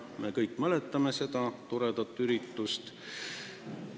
Me kõik mäletame seda toredat üritust.